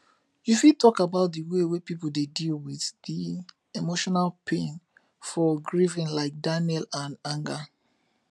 you fit talk about di way people dey deal with di emotional pain for grief like denial and anger